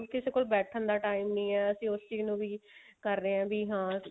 ਕਿਸੇ ਕੋਲ ਬੈਠਣ ਦਾ time ਨਹੀਂ ਹੈ ਅਸੀਂ ਉਸ ਚੀਜ਼ ਨੂੰ ਵੀ ਕਰ ਰਹੇ ਹਾਂ ਵੀ ਹਾਂ